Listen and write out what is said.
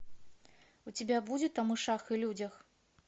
у тебя будет о мышах и людях